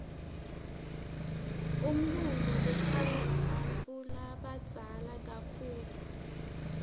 umlulo utsansvwa bantfulabaza kakitulu